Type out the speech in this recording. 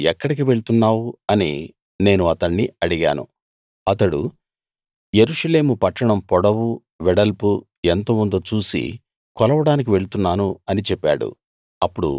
నువ్వు ఎక్కడికి వెళ్తున్నావు అని నేను అతణ్ణి అడిగాను అతడు యెరూషలేము పట్టణం పొడవు వెడల్పు ఎంత ఉందో చూసి కొలవడానికి వెళ్తున్నాను అని చెప్పాడు